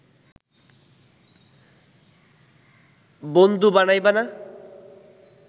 বনদু বানাইবা না